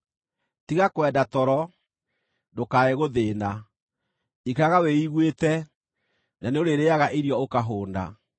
Tiga kwenda toro, ndũkae gũthĩĩna; ikaraga wĩiguĩte, na nĩũrĩrĩĩaga irio ũkahũũna.